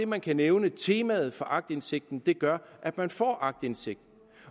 man kan nævne temaet for aktindsigten gør at man får aktindsigt